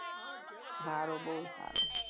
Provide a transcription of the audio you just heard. હારું બહુ સારું